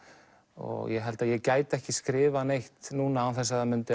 og ég held að ég gæti ekki skrifað neitt núna án þess það